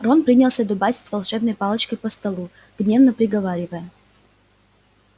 рон принялся дубасить волшебной палочкой по столу гневно приговаривая